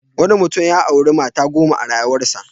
Wanui mutum ya auri mata goma a rayuwarsa.